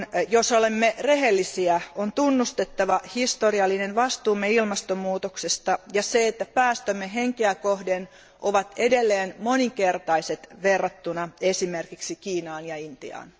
Jos olemme rehellisiä, on tunnustettava historiallinen vastuumme ilmastonmuutoksesta ja että päästömme henkeä kohden ovat edelleen monikertaiset verrattuna esimerkiksi Kiinaan ja Intiaan.